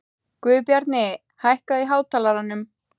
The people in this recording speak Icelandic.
Guðbjarni, hækkaðu í hátalaranum.